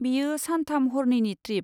बेयो सान थाम हर नैनि ट्रिप।